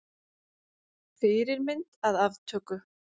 Fyrirmynd að aftöku.